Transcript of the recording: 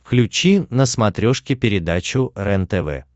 включи на смотрешке передачу рентв